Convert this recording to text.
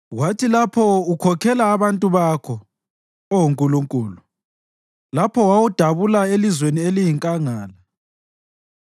Kwathi lapho ukhokhela abantu bakho, Oh Nkulunkulu, lapho wawudabula elizweni eliyinkangala,